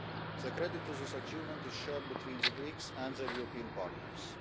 The credit for this achievement is shared between the Greeks and their European partners.